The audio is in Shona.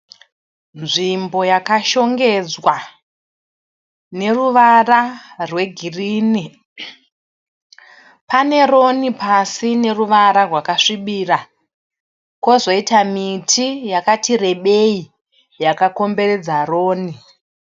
Nzvimbo yakashongedzwa neruvara rwegirini. Pane roni pasi ine ruvara rwakasvibira. Kwozoita miti yakati rebei yakakomberedza roni.